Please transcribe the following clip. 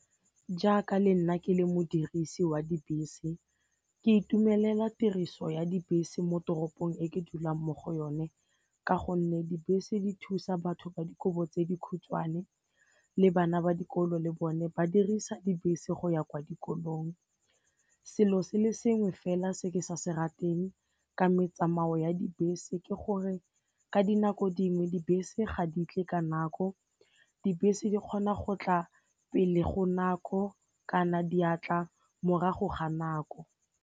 Jaaka le nna ke le modirisi wa dibese, ke itumelela tiriso ya dibese mo toropong e ke dulang mo go yone ka gonne dibese di thusa batho ba dikobo tse dikhutshwane le bana ba dikolo le bone ba dirisa dibese go ya kwa dikolong. Selo se le sengwe fela se ke sa se rateng ka metsamao ya dibese ke gore ka dinako dingwe dibese ga ditle ka nako, dibese di kgona go tla pele go nako kana diatla morago ga nako.